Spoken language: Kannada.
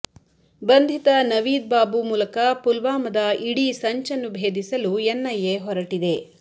ಬಂಧಿತ ನವೀದ್ ಬಾಬು ಮೂಲಕ ಪುಲ್ವಾಮದ ಇಡೀ ಸಂಚನ್ನು ಭೇದಿಸಲು ಎನ್ಐಎ ಹೊರಟಿದೆ